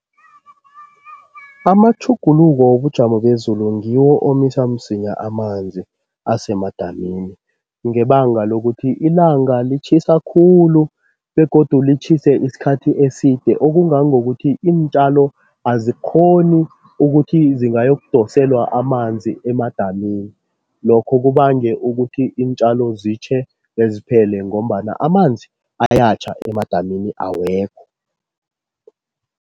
Amatjhuguluko wobujamo bezulu ngiwo omisa msinya amanzi asemadamini, ngebanga lokuthi ilanga litjhisa khulu begodu litjhise isikhathi eside okungangokuthi iintjalo azikghoni ukuthi zingayokudoselwa amanzi emadamini, lokho kubange ukuthi iintjalo zitjhe beziphele ngombana amanzi ayatjha emadamini awekho.